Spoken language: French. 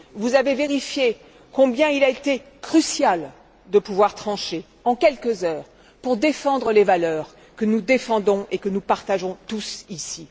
Vous avez vérifié combien il a été crucial de pouvoir trancher en quelques heures pour défendre les valeurs que nous défendons et que nous partageons tous ici.